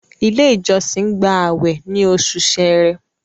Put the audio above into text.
ilé ìjósìn gba awẹ ní Oṣù Ṣẹ̀rẹ́